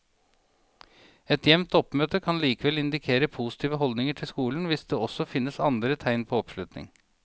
Et jevnt oppmøte kan likevel indikere positive holdninger til skolen hvis det også finnes andre tegn på oppslutning.